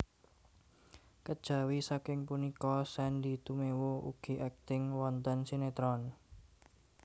Kejawi saking punika Sandy Tumewu ugi akting wonten sinetron